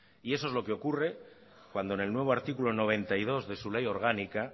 y eso es lo que ocurre cuando en el nuevo artículo noventa y dos de su ley orgánica